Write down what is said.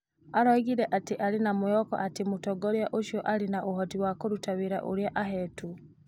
Oigire atĩ arĩ na mwĩhoko atĩ mũtongoria ũcio arĩ na ũhoti wa kũruta wĩra ũrĩa aheetwo.